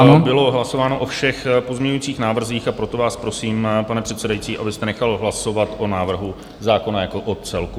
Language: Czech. Ano, bylo hlasováno o všech pozměňujících návrzích, a proto vás prosím, pane předsedající, abyste nechal hlasovat o návrhu zákona jako o celku.